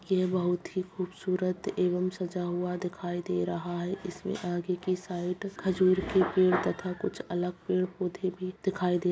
ये बहुत ही खूबसूरत एवं सजा हुआ दिखाई दे रहा है इसमें आगे की साइड खजूर के पेड़ तथा कुछ अलग पेड़-पौधे भी दिखाई दे --